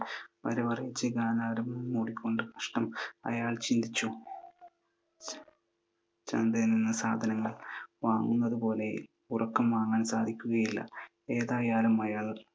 വരവറിയിച്ചു അയാൾ ചിന്തിച്ചു, ചന്തയിൽ നിന്ന് സാധനങ്ങൾ വാങ്ങുന്നത് പോലെ ഉറക്കം വാങ്ങാൻ സാധിക്കുകയില്ല. ഏതായാലും അയാൾ